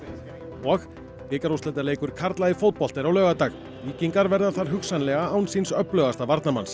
og bikarúrslitaleikur karla í fótbolta er á laugardag víkingar verða hugsanlega án síns öflugasta varnarmanns